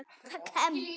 Það kem